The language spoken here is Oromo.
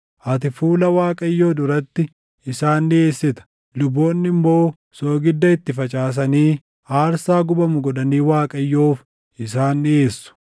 Ati fuula Waaqayyoo duratti isaan dhiʼeessita; luboonni immoo soogidda itti facaasanii aarsaa gubamu godhanii Waaqayyoof isaan dhiʼeessu.